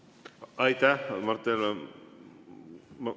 Aitäh, Mart Helme!